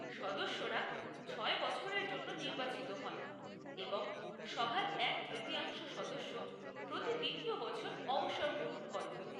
সদস্যরা ছয় বছরের জন্য নির্বাচিত হন এবং সভার এক তৃতীয়াংশ সদস্য প্রতি দ্বিতীয় বছর অবসর গ্রহণ করেন।